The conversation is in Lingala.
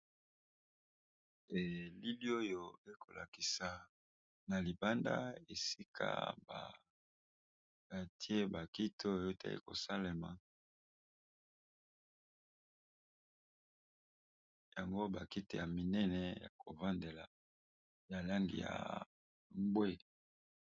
Elili oyo ekolakisa na libanda esika baatie bakito yote ekosalema yango bakite ya minene ya kovandela ya langi ya mbwe.